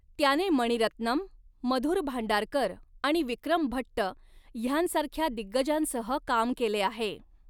त्याने मणिरत्नम, मधुर भांडारकर आणि विक्रम भट्ट ह्यांसारख्या दिग्गजांसह काम केले आहे.